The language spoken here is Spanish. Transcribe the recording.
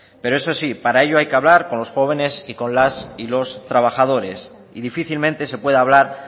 pero eso sí para ello hay que hablar con los jóvenes y con las y los trabajadores y difícilmente se puede hablar